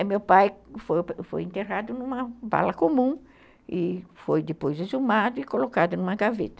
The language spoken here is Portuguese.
E meu pai foi foi enterrado numa bala comum e foi depois exumado e colocado numa gaveta.